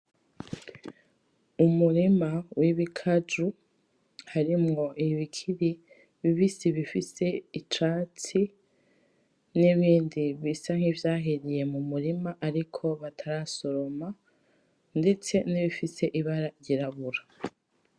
Umurima w’Ibikaju harimwo ibikiri bibisi bifise icatsi n’ibindi bisa nkivya hiriye mu murima ariko batarasoroma ndetse n’ibifise ibara ryirabura.